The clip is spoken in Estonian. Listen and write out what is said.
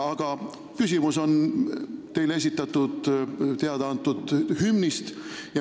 Aga küsimus on teile esitatud hümni kohta.